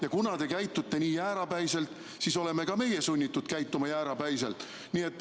Ja kuna te käitute nii jäärapäiselt, siis oleme ka meie sunnitud käituma jäärapäiselt.